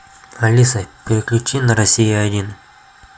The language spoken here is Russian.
алиса переключи на россия один